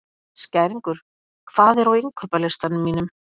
Skæringur, hvað er á innkaupalistanum mínum?